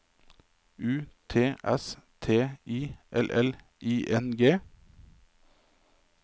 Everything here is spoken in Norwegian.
U T S T I L L I N G